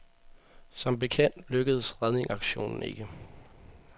Som bekendt lykkedes redningsaktionen ikke.